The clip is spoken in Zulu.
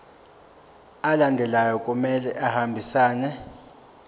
alandelayo kumele ahambisane